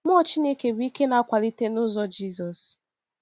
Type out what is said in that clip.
Mmụọ Chineke bụ ike na-akwalite n’ụzọ Jizọs.